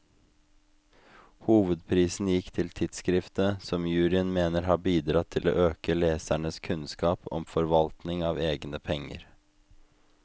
Hovedprisen gikk til tidskriftet, som juryen mener har bidratt til å øke lesernes kunnskap om forvaltning av egne penger.